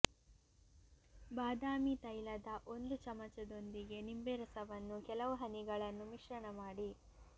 ಬಾದಾಮಿ ತೈಲದ ಒಂದು ಚಮಚದೊಂದಿಗೆ ನಿಂಬೆ ರಸವನ್ನು ಕೆಲವು ಹನಿಗಳನ್ನು ಮಿಶ್ರಣ ಮಾಡಿ